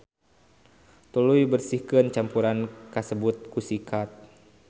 Tuluy bersihkeun campuran kasebut ku sikat.